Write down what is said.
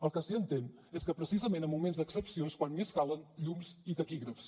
el que sí que entén és que precisament en moments d’excepció és quan més calen llums i taquígrafs